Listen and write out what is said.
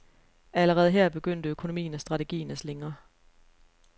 Allerede her begyndte økonomien og strategien at slingre.